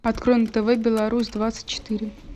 открой на тв беларусь двадцать четыре